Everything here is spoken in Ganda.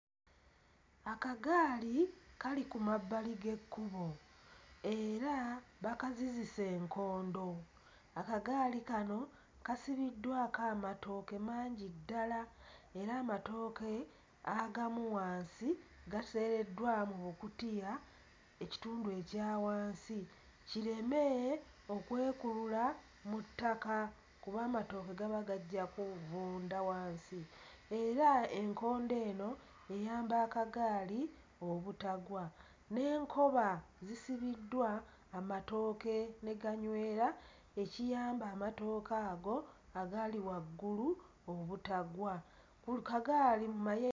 Akagaali kali ku mabbali g'ekkubo era bakazizise enkondo, akagaali kano kasibiddwako amatooke mangi ddala era amatooke agamu wansi gateereddwa mu bukutiya ekitundu ekya wansi kireme okwekulula mu ttaka kuba amatooke gaba gajja kuvunda wansi era enkondo eno eyamba akagaali obutagwa, n'enkoba zisibiddwa amatooke ne ganywera ekiyamba amatooke ago agali waggulu obutagwa. Ku kagaali mu maye